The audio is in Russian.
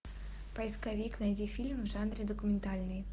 поисковик найди фильм в жанре документальный